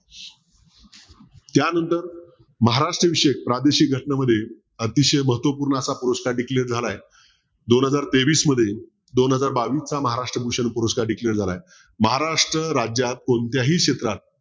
त्यानंतर महाराष्ट्राविषयी प्रादेशिक घटनांमध्ये अतिशय महत्वपूर्ण असा पुरस्कार declare झालाय दोन हजार तेवीस मध्ये दोन हजार बावीसचा महाराष्ट्र भूषण पुरस्कार declare झालाय महाराष्ट्र राज्यात कोणत्याही क्षेत्रात